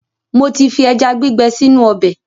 Mo ti fi ẹja gbígbẹ sínú ọbẹ̀.